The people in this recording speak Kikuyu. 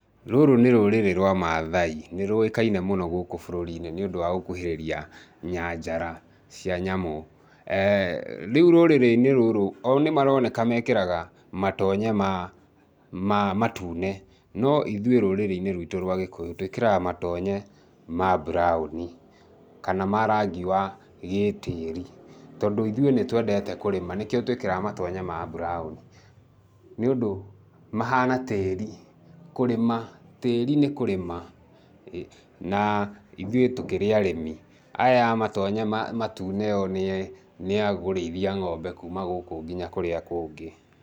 Rũrũ nĩ rũrĩrĩ rwa maathai, nĩ rũĩkaine mũno gũkũ bũrũri-inĩ, nĩũndũ wa gũkuhĩrĩria nyanjara cia nyamũ. Rĩu rũrĩrĩ-nĩ rũrũ, o nĩ maroneka mekĩraga matonye ma matune, no ithuĩ, rũrĩrĩ-nĩ rwitũ rwa Gĩkũyũ, tũĩkĩraga matonye ma mburaũni kana ma rangi wa gĩtĩĩri, tondũ ithuĩ nĩ twendete kũrĩma, nĩkĩo tuikĩraga matonye ma mburaũni nĩundũ mahana tĩĩri, kũrĩma, tĩĩri nĩ kũrĩma na ithui tũkĩrĩ arĩmi, aya a matonye matume o nĩ nĩ a kũrĩithia ng'ombe kuuma gũku nginya kũria kũngĩ.